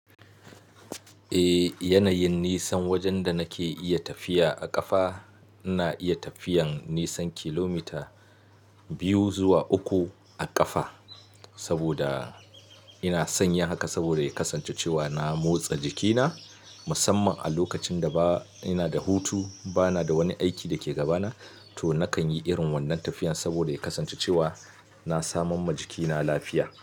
Eh, yanayin nisan wajen da nake iya tafiya a ƙafa, ina iya tafiyan nisan kilomita biyu zuwa uku a ƙafa saboda ina san yin haka saboda ya kasance cewa na motsa jikina musamman a lokacin da ba ina da hutu, ba na da wani aiki da ke gabana to nakan yi irin wannan tafiyan saboda ya kasance cewa na samamwa jikina lafiya.